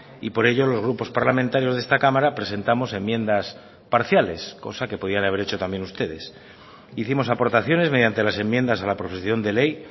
y por ello los grupos parlamentarios de esta cámara presentamos enmiendas parciales cosa que podían haber hecho también ustedes hicimos aportaciones mediante las enmiendas a la proposición de ley